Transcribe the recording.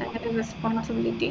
നമ്മളെ responsibility